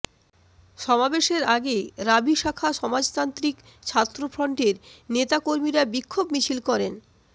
সমাবেশের আগে রাবি শাখা সমাজতান্ত্রিক ছাত্রফ্রন্টের নেতাকর্মীরা বিক্ষোভ মিছিল করেন